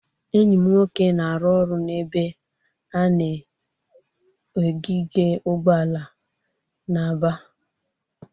Enyi m nwoke na-arụ ọrụ n'ebe a na-ogige ụgbọala na Aba.